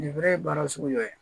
Nin bɛ ye baara sugu dɔ ye